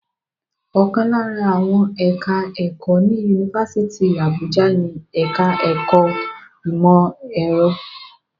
Ọ̀kan lára àwọn ẹ̀ka-ẹ̀kọ́ ní Yunifásítì Àbújá ni ẹ̀ka-ẹ̀kọ́ ìmọ̀-ẹ̀rọ.